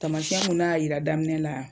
Tamasiyɛn mun n'a y'a yira daminɛ la